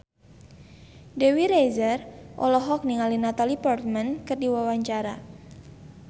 Dewi Rezer olohok ningali Natalie Portman keur diwawancara